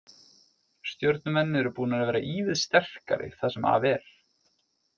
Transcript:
Stjörnumenn eru búnir að vera ívið sterkari það sem af er.